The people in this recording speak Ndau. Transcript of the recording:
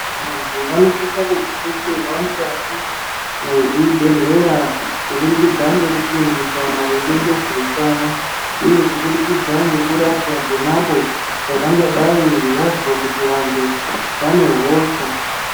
Antu vanosisa kudetserwa mukati mwezvibhehleya kubudikidza ngekufundiswa maringe ngezveutano uye kubudikidza ngekurapwa ponapo pavangadai vazwa kuti vantu vane hosha.